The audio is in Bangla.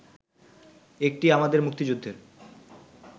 একটি আমাদের মুক্তিযুদ্ধের